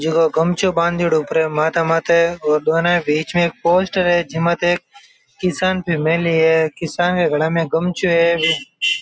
जको गमछाे बान्देडो उपरे माथा माथे और दोनों बिच में एक पोस्टर है जिने माथे किसान फॅमिली है किसान के गले में गमछों है।